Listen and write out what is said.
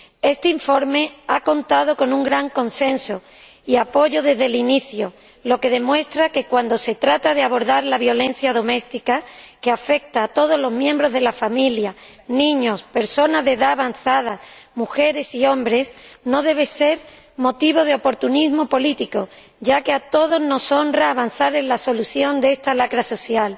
Este informe ha contado con un gran consenso y apoyo desde el inicio, lo que demuestra que, cuando se trata de abordar la violencia doméstica, que afecta a todos los miembros de la familia niños, personas de edad avanzada, mujeres y hombres ello no debe ser motivo de oportunismo político, ya que a todos nos honra avanzar en la solución de esta lacra social.